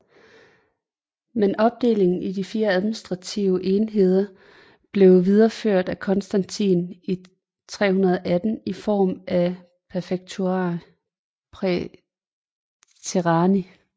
Men opdelingen i de fire administrative enheder blev videreført af Konstantin i 318 i form af Praefectura praetorianii